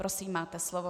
Prosím máte slovo.